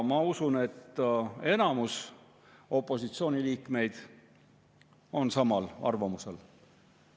Ma usun, et enamus opositsiooniliikmeid on samal arvamusel.